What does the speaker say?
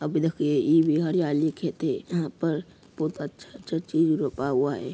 अबी देखिए लिखे थे। यहाॅं पर बहोत अच्छा अच्छा चीज़ रोपा हुआ है।